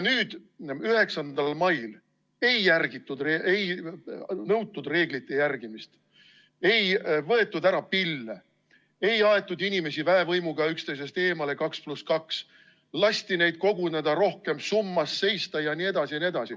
9. mail ei järgitud, ei nõutud reeglite järgimist, ei võetud ära pille, ei aetud inimesi väevõimuga üksteisest eemale, 2 + 2, lasti neid koguneda, summas seista jne.